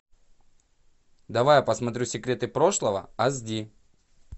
давай я посмотрю секреты прошлого аш ди